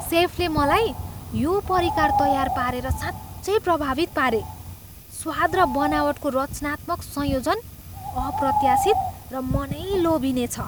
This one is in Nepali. सेफले मलाई यो परिकार तयार पारेर साँच्चै प्रभावित पारे, स्वाद र बनावटको रचनात्मक संयोजन अप्रत्याशित र मनै लोभिने छ।